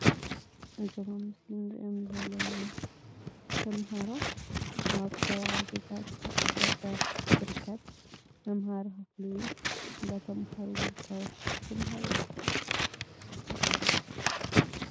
እዞም ኣብ ምስሊ ንሪኦም ዘለና ተማሃሮ ኣብ ከባብታት ገጠር ዝርከብ መምሃሪ ክፍሊ እዩ። እንዳተምሃሩ ዝርከቡ ተምሃሮ እዮም ።